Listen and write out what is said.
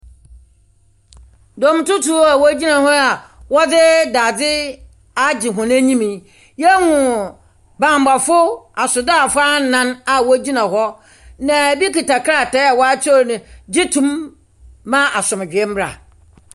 Dɔmtutuw a wogyina hɔ a wɔdze dadze agye hɔn enyim yi, yehu bambɔfo asraafo anan a wogyina hɔ, na ebi kita krataa a wɔakyerɛw no, gye tom ma asomdwoeɛ mbra.